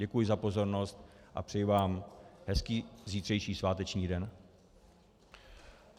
Děkuji za pozornost a přeji vám hezký zítřejší sváteční den.